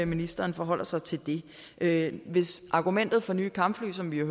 ministeren forholder sig til det det hvis argumentet for nye kampfly er som vi